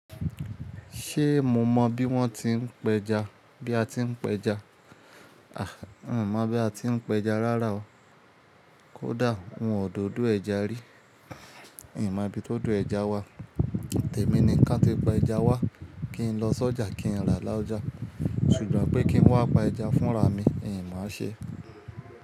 Ṣé mo mọ bí wọ́n ti ń pẹja, bí a ti ń pẹja? Àhń, mo mọ̀ bí a ti ń pẹja rárá o. Kódà òun ò dọdú ẹja rí, n má bí tó do ẹja wa. Tẹ̀mí ni ká ti pa ẹja wá kí n lọ s'ọjà kí n rà lájọja, ṣùgbọ́n pé kí n wá pa ẹja fún rami, n máa ṣe.